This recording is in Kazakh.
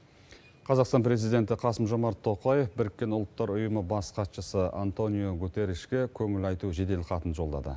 қазақстан президенті қасым жомарт тоқаев біріккен ұлттар ұйымы бас хатшысы антониу гутерришке көңіл айту жеделхатын жолдады